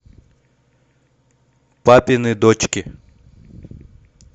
папины дочки